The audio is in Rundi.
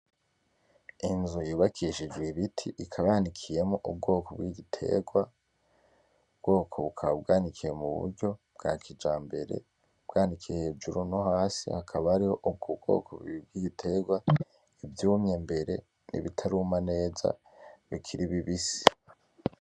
Inzu y'ubakishijwe ibiti ikaba y'anikiyemwo ubwoko bw'igiterwa, ubwoko bukaba bw'anikiye mu buryo bwa kijambere bw'anikiye hejuru no hasi hakaba hariho ubwo bwoko bubiri bw'igiterwa ivyumye mbere, ibitaruma neza bikiri bibisi.